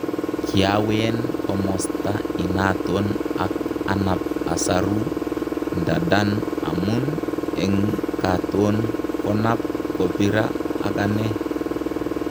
Kiawen komosta inaton ak anap asaru ndadan amun eng katon konap kopira ak ane